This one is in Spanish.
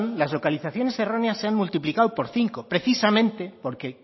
las localizaciones erróneas se han multiplicado por cinco precisamente porque